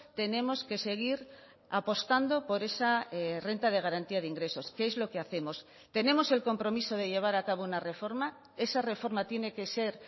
tenemos que seguir apostando por esa renta de garantía de ingresos que es lo que hacemos tenemos el compromiso de llevar a cabo una reforma esa reforma tiene que ser